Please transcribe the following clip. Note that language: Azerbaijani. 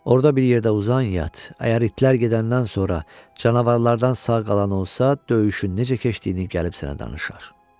Orda bir yerdə uzan yat, əgər itlər gedəndən sonra canavarlardan sağ qalan olsa, döyüşün necə keçdiyini gəlib sənə danışar.